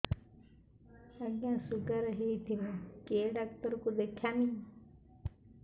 ଆଜ୍ଞା ଶୁଗାର ହେଇଥିବ କେ ଡାକ୍ତର କୁ ଦେଖାମି